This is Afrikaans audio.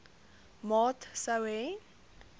maat sou hê